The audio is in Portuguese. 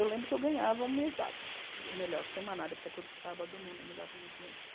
Eu lembro que eu ganhava uma mesada, ou melhor, semanada, porque todo sábado minha mãe me dava um dinheirinho.